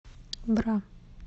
бра